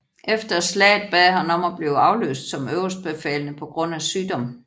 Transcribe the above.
Efter slaget bad han om at blive afløst som øverstbefalende på grund af sygdom